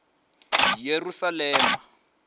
yerusalema